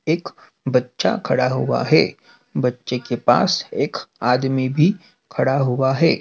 एक बच्चा खड़ा हुआ है बच्चे के पास एक आदमी भी खड़ा हुआ है।